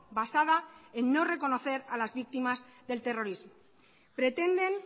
basada en no reconocer a las víctimas del terrorismo pretenden